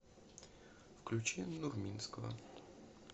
включи нурминского